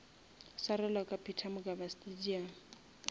swarelwa ka peter mokaba stadium